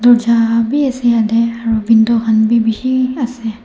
dorja vi ase yate aru window khan vi bishi ase.